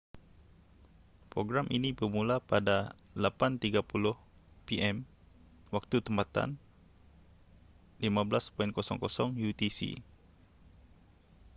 program ini bermula pada 8:30 p.m. waktu tempatan 15.00 utc